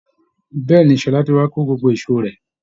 Bẹ́ẹ̀ ni Ṣọlá ti wá kó gbogbo èṣó rẹ̀